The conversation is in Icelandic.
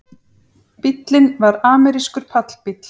Bíllinn var amerískur pallbíll